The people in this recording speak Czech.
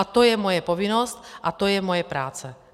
A to je moje povinnost a to je moje práce.